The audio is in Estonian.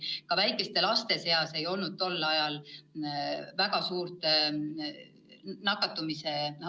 Ja väikeste laste seas ei olnud tol ajal väga suurt nakatumist.